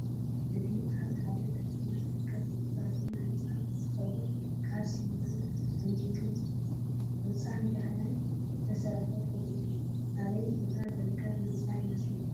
እዚ አብ ሐደ ከተማ ዝርከብ ዘይተዛዘመ ህንፃ እንትኸውን ካብ ስሚንቶ፣ ተዲኖ፣ ሕፃን ጀሃያን ዝተሰርሐ ፉቅ እዩ። አበይ ቦታ ዝርከብ ህንፃ ይመስለኩም?